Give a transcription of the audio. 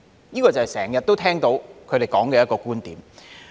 這就是他們經常說的一個觀點。